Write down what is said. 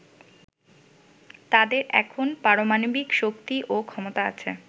“তাদের এখন পারামাণবিক শক্তি ও ক্ষমতা আছে।